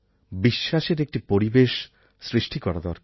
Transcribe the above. বিশ্বাসের একটি পরিবেশ সৃষ্টি করা দরকার